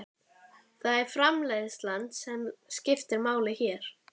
Það er framreiðslan sem skiptir máli hér.